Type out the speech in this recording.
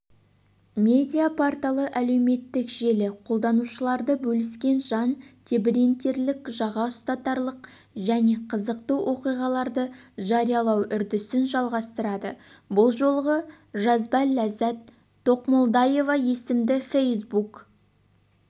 медиа-порталы әлеуметтік желі қолданушылары бөліскен жан тебірентерлік жаға ұстатарлық және қызықты оқиғаларды жариялау үрдісін жалғастырады бұл жолғы жазбаләззат тоқмолдаева есімді фейсбук